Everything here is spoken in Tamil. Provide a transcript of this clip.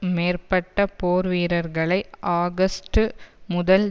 மேற்பட்ட போர் வீரர்களை ஆகஸ்ட்டு முதல்